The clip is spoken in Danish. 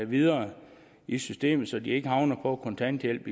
videre i systemet så de ikke havner på kontanthjælp